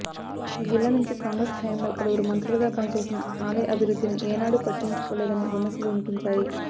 ఈ జిల్లా నుంచి కాంగ్రెస్ హయాంలో పలువురు మంత్రులుగా పనిచేసినా ఆలయ అభివృద్ధిని ఏనాడు పట్టించుకోలేదనే విమర్శలు వినిపించాయి